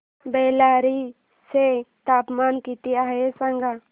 बेल्लारी चे तापमान किती आहे सांगा